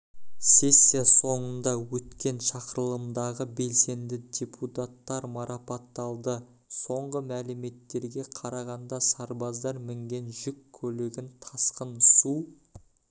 сессия соңында өткен шақырылымдағы белсенді депутаттар марапатталды соңғы мәліметтерге қарағанда сарбаздар мінген жүк көлігін тасқын су